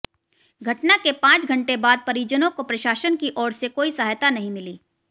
घटना के पांच घंटे बाद परिजनों को प्रशासन की ओर से कोई सहायता नहीं मिली